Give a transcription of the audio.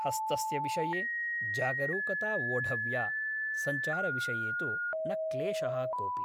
हस्तस्य विषये जागरूकता वोढव्या । सञ्चारविषये तु न क्लेशः कोऽपि ।